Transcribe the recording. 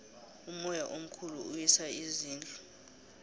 umoya omkhulu uwisa izindlu